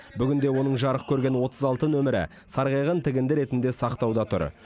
бүгінде оның жарық көрген отыз алты нөмірі сарғайған тігінді ретінде сақтауда тұр